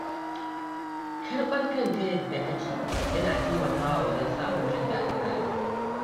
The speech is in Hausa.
Karɓar kanka yadda kake yana taimakawa wajen samun jin daɗin rayuwa.